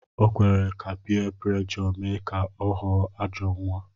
O kwere ka piyé puréjò mee ka ọ ghọọ ajọọ nwa